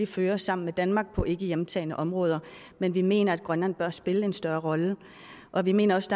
føres sammen med danmark på ikke hjemtagne områder men vi mener at grønland bør spille en større rolle og vi mener også